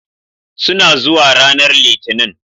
Suna zuwa ranar Litinin